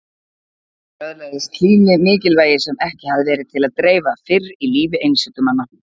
Hér öðlaðist hlýðni mikilvægi sem ekki hafði verið til að dreifa fyrr í lífi einsetumanna.